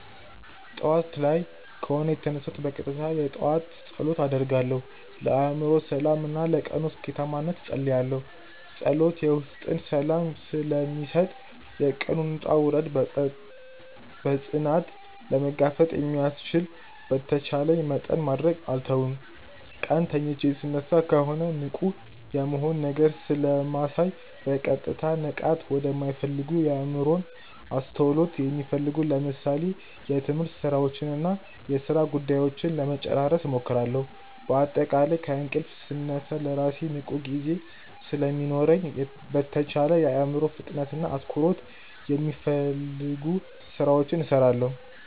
ጠዋት ላይ ከሆነ የተነሳሁት በቀጥታ የጠዋት ጸሎት አደርጋለሁ፣ ለአእምሮ ሰላም እና ለቀኑ ስኬታማነት እጸልያለሁ። ጸሎት የውስጥን ሰላም ስለሚሰጥ፣ የቀኑን ውጣ ውረድ በፅናት ለመጋፈጥ ስለሚያስችል በተቻለኝ መጠን ማድረግ አልተውም። ቀን ተኝቼ ስነሳ ከሆነ ንቁ የመሆን ነገር ስለማሳይ በቀጥታ ንቃት ወደማሚፈልጉ የአዕምሮን አስተውሎት የሚፈልጉ ለምሳሌ የትምህርት ስራዎችንና የሥራ ጉዳዮችን ለመጨራረስ እሞክራለሁ። በአጠቃላይ ከእንቅልፍ ስነሳ ለራሴ ንቁ ጊዜ ስለሚኖረኝ በተቻለኝ የአዕምሮን ፍጥነትና አትኩሮት የሚፈልጉ ስራዎችን እሰራለሁ።